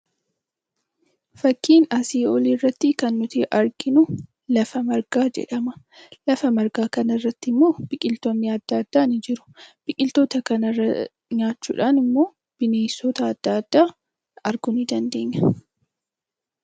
Fakkii asii olii irratti kan nuti arginu, lafa margaa jedhama. Lafa margaa kana irratti immoo biqiltoonni addaa addaa ni jiru. Biqiltoota kana nyaachuudhaan immoo bineensota addaa addaa arguu ni dandeenya.